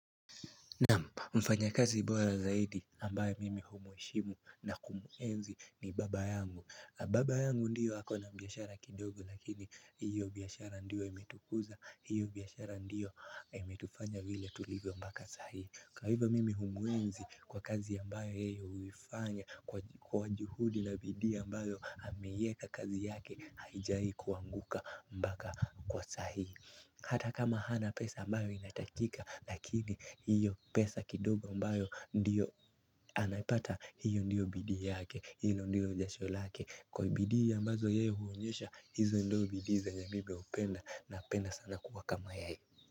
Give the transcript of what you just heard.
Naam, mfanyakazi bora zaidi ambaye mimi humuheshimu na kumuenzi ni baba yangu. Baba yangu ndio ako na biashara kidogo lakini hiyo biashara ndiyo imetukuza, hiyo biashara ndiyo imetufanya vile tulivyo mpaka saa hii. Kwa hivyo mimi humuenzi kwa kazi ambayo yeye huifanya kwa juhudi na bidii ambayo ameiweka kazi yake haijai kuanguka mpaka kwa saa hii. Hata kama hana pesa ambayo inatakika lakini hiyo pesa kidogo ambayo ndiyo anaipata hiyo ndiyo bidii yake hilo ndiyo jasho lake. Kwa bidii ambazo yeye huonyesha hizo ndizo bidii zenye mimi hupenda napenda sana kuwa kama yeye.